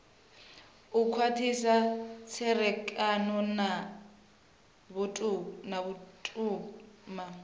u khwathisa tserekano na vhutumani